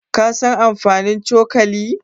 Ka san amfanin cokali?